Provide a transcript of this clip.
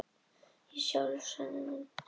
Ég sjálf er sönnunin.